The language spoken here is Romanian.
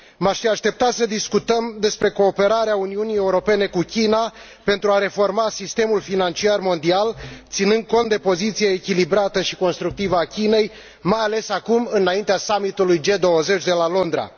M aș fi așteptat să discutăm despre cooperarea Uniunii Europene cu China pentru a reforma sistemul financiar mondial, ținând cont de poziția echilibrată și constructivă a Chinei, mai ales acum, înaintea summit ului G20 de la Londra.